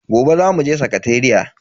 Gobe zamu je sakateriya.